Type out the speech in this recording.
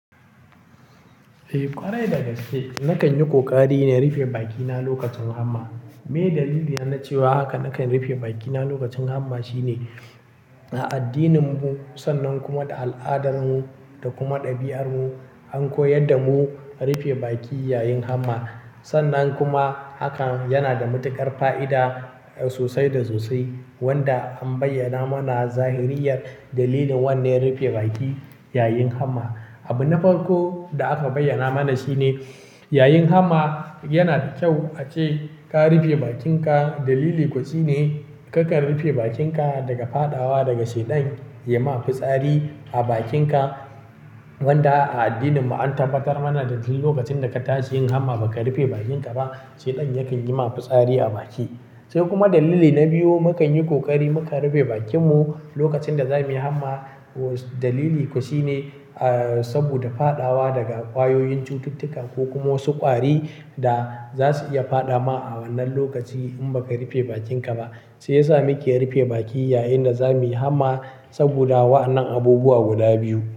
Eh, ƙwarai dagaske. Nakan yi ƙoƙari na rufe bakina lokacin hamma. Me daliliya na cewa haka nakan rufe bakina lokacin hamma shine a addininmu sannan kuma da al'adanmu da kuma ɗabi'armu an koyar damu rufe baki yayin hamma. Sannan kuma hakan yana da matuƙar fa'ida sosai da sosai wanda an bayyana mana zahiriyar dalilin wannan rufe baki yayin hamma. Abu na farko da aka bayyana mana shine yayin hamma yana da kyau ace ka rufe bakinka dalili koshi ne karka rufe bakinka daga faɗawa daga shaidan yayi ma fitsari a bakinka wanda a addininmu an tabbatar mana daduk lokacin da ka tashi yin hamma baka rufe bakinka ba shaidan yakan yi ma fitsari a baki. Sai kuma dalili na biyu mukanyi kokari mukan rufe bakinmu lokacin da zamuyi hamma dalili koshi ne ah saboda faɗawa daga ƙwayoyin cututtuka ko kuma wasu ƙwari da zasu iya faɗa ma a wannan lokaci in baka rufe bakinka ba. Shi yasa muke rufe baki yayin da zamuyi hamma saboda wa'anan abubuwa guda biyu.